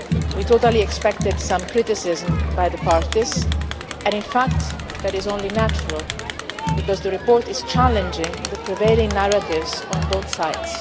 reactions. We fully expected some criticism from the parties and, in fact, that is only natural because the report challenges the prevailing narratives